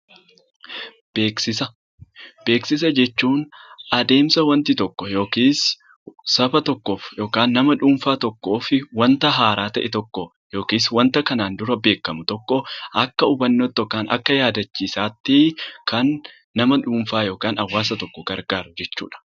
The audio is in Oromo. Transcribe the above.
Beeksisa Beeksisa jechuun adeemsa wanti tokko yookiis saba tokkoof yookaan nama dhuunfaa tokkoof wanta haaraa ta'e tokko yookiis wanta kanaan dura beekamu tokko akka hubannoo tti yookaan akka yaadachiisaa tti kan nsma dhuunfaa yookaan hawaasa tokko gargaaru jechuu dha.